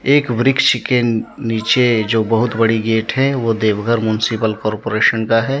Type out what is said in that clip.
एक वृक्ष के नीचे जो बहुत बड़ी गेट है वो देवघर म्युनिसिपल कॉरपोरेशन का है।